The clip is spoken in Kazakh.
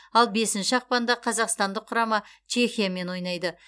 ал бесінші ақпанда қазақстандық құрама чехиямен ойнайды